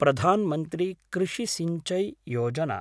प्रधान् मन्त्री कृषि सिंचाई योजना